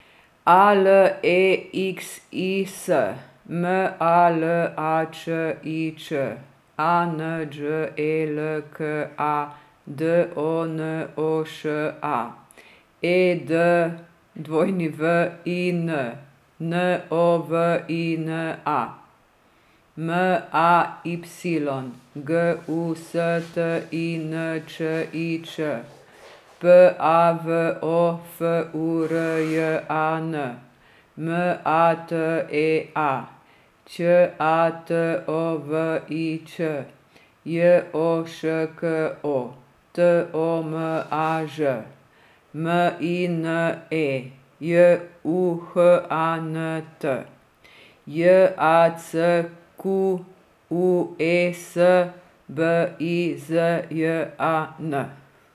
A L E X I S, M A L A Č I Č; A N Đ E L K A, D O N O Š A; E D W I N, N O V I N A; M A Y, G U S T I N Č I Č; P A V O, F U R J A N; M A T E A, Ć A T O V I Ć; J O Š K O, T O M A Ž; M I N E, J U H A N T; J A C Q U E S, B I Z J A N.